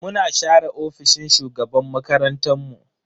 Muna share ofishin shugaban makarantan mu.